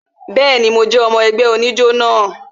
Bẹẹni, mo jẹ́ ọmọ ẹgbẹ́ ijó náà